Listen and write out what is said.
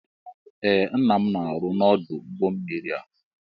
Ee ńnà m na-aru n'odu ụgbọ mmiri a.